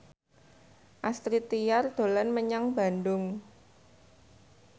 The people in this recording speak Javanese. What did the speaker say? Astrid Tiar dolan menyang Bandung